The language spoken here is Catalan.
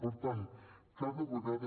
per tant cada vegada